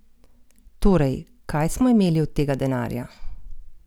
Torej, kaj smo imeli od tega denarja?